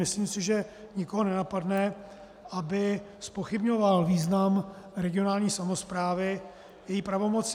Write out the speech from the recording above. Myslím si, že nikoho nenapadne, aby zpochybňoval význam regionální samosprávy, její pravomoci.